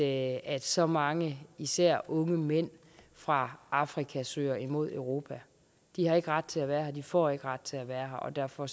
at så mange især unge mænd fra afrika søger imod europa de har ikke ret til at være her og de får ikke ret til at være her og derfor